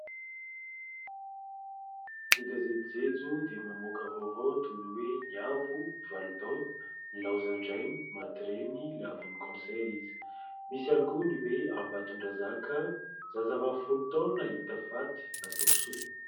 Ny gazety Jejo dia mamoaka vaovao toy ny hoe : Niavo, valo taona , nilaozan-drainy, maty reny lavon'ny "cancer" izy. Misy ihany koa ny hoe Ambatondrazaka, zazavavy folo taona hita faty, natao sorona.